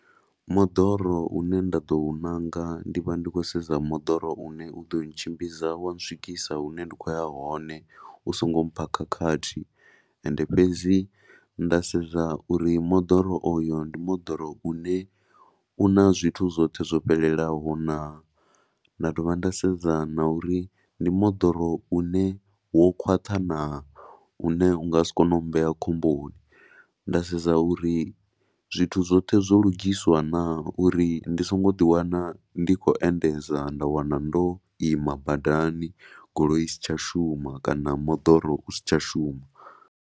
Moḓoro u ne nda ḓo u ṋanga ndi vha ndi khou sedza moḓoro u ne u ḓo ntshimbidza wa ntswikisa hune ndi khou ya hone u songo mpha khakhathi. Ende fhedzi nda sedza uri moḓoro oyo ndi moḓoro u na zwithu zwoṱhe zwo fhelelaho naa na divha nda sedza na uri ndi moḓoro u ne wo khwaṱha naa, u ne u nga si kone u mmbea khomboni. Nda sedza uri zwithu zwoṱhe zwo lugiswa naa uri ndi songo ḓiwana ndi khou endedza nda wana ndo ima badani, goloi i si tsha shuma kana moḓoro u si tsha shuma.